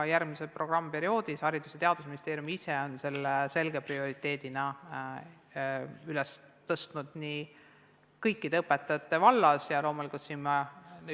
Ka järgmiseks programmiperioodiks on Haridus- ja Teadusministeerium ise selge prioriteedina esitanud kõikide õpetajate täienduskoolituse.